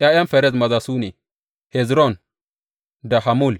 ’Ya’yan Ferez maza su ne, Hezron da Hamul.